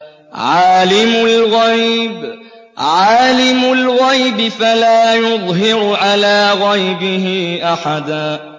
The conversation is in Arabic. عَالِمُ الْغَيْبِ فَلَا يُظْهِرُ عَلَىٰ غَيْبِهِ أَحَدًا